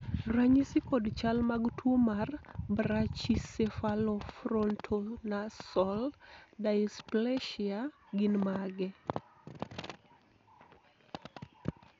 ranyisi kod chal mag tuo mar Brachycephalofrontonasal dysplasia gin mage?